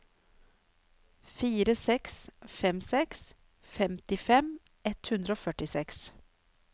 fire seks fem seks femtifem ett hundre og førtiseks